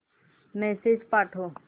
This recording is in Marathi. मेसेज पाठव